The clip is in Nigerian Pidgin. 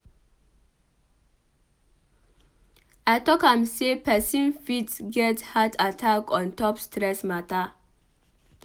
I talk am sey pesin fit get heart attack on top stress mata.